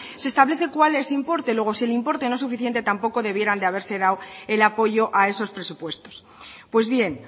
se establece cual es el importe luego si el importe no es suficiente tampoco debieran de haberse dado el apoyo a esos presupuestos pues bien